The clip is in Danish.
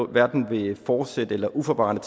hverken ved forsæt eller uforvarende